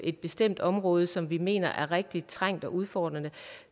et bestemt område som vi mener er rigtig trængt og udfordret